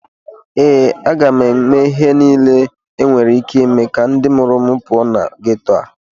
ee, a ga m eme ihe niile enwere ike ime ka ndị mụrụ m pụọ na geto a